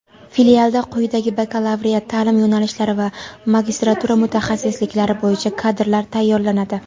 Filialda quyidagi bakalavriat taʼlim yo‘nalishlari va magistratura mutaxassisliklari bo‘yicha kadrlar tayyorlanadi:.